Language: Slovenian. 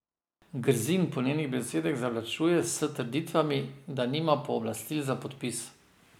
Grzin po njenih besedah zavlačuje s trditvami, da nima pooblastil za podpis.